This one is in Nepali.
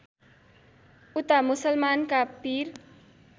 उता मुसलमानका पिर